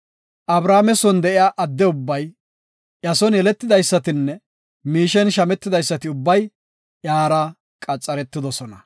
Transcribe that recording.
Abrahaame son de7iya adde ubbay, iya son yeletidaysatinne miishen shammetidaysati ubbay iyara qaxaretidosona.